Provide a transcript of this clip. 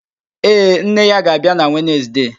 Ee, nne ya ga-abịa na Wenezde.